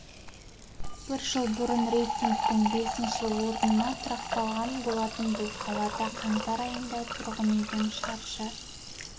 бір жыл бұрын рейтингтің бесінші орнына тұрақтаған болатын бұл қалада қаңтар айында тұрғын үйдің шаршы